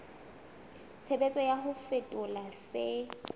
tshebetso ya ho fetola se